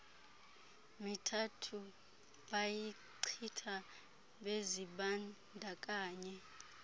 mithathu bayichitha bezibandakanye